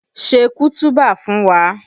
Ṣe kutuba fún wa!